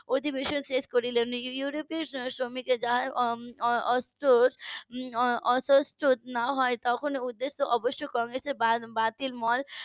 অধিবেশন শেষ করলো ইউরোপীয় শ্রমিকের যা . না হয় তখন ওদের তো অবশ্য কংগ্রেসের বাতিল মই